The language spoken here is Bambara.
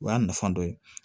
O y'a nafa dɔ ye